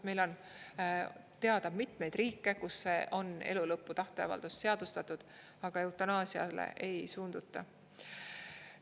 Meil on teada mitmeid riike, kus elulõpu tahteavaldus on seadustatud, aga eutanaasiale ei suunduta.